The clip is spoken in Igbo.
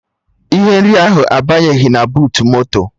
Ihe nri ahụ abanyeghị na buutu moto